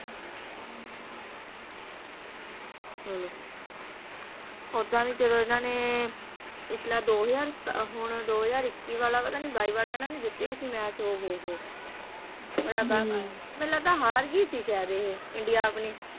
ਚਲੋ ਓਦਾਂ ਵੀ ਜਦੋਂ ਇਨ੍ਹਾਂ ਨੇ ਪਿਛਲੇ ਦੋ ਹਜ਼ਾਰ ਹੁਣ ਦੋ ਹਜ਼ਾਰ ਇੱਕੀ ਪਤਾ ਨਹੀਂ ਬਾਈ ਵਾਲਾ ਇਨ੍ਹਾਂ ਨੇ ਜਿੱਤਿਆ ਸੀ ਮੈਚ ਓ ਹੋ ਹੋ ਬੜਾ ਗਾਹ ਪਾਇਆ ਸੀ ਮੈਨੂੰ ਲੱਗਦਾ ਹਰ ਗਈ ਸੀ ਸ਼ਾਇਦ ਇਹ ਇੰਡੀਆ ਆਪਣੀ